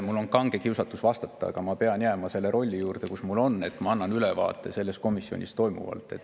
Mul on kange kiusatus vastata, aga ma pean jääma selle rolli juurde, mis mul on, et ma annan ülevaate komisjonis toimunust.